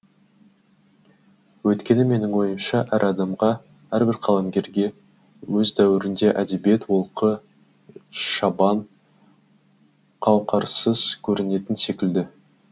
өйткені менің ойымша әр адамға әрбір қаламгерге өз дәуірінде әдебиет олқы шабан қауқарсыз көрінетін секілді